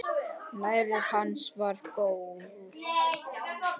Nærvera hans var góð.